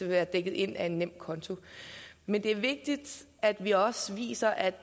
være dækket ind af en nemkonto men det er vigtigt at vi også viser at